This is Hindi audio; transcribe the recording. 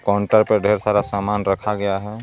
काउंटर पे ढेर सारा सामान रखा गया है.